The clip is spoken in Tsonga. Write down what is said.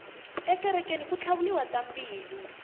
ekerekeni ku tlhavuriwa tambilu